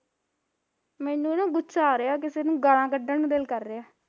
ਮੈਨੂੰ ਨਾ ਗੁੱਸਾ ਆ ਰਿਹਾ ਕਿਸੇ ਨੂੰ ਗਾਲਾਂ ਕੱਢਣ ਨੂੰ ਦਿਲ ਕਰ ਰਿਹਾ